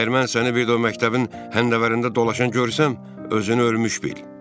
Əgər mən səni bir də o məktəbin həndəvərində dolaşan görsəm, özünü ölmüş bil.